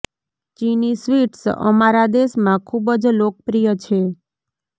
ચિની sweets અમારા દેશ માં ખૂબ જ લોકપ્રિય છે